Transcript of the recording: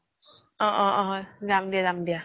অ অ যাম দিয়া যাম দিয়া